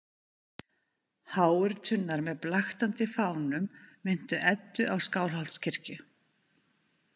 Háir turnar með blaktandi fánum minntu Eddu á Skálholtskirkju.